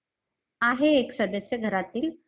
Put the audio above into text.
आहे एक सदस्य घरातील.